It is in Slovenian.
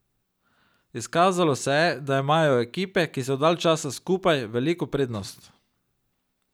Izkazalo se je, da imajo ekipe, ki so dalj časa skupaj, veliko prednost.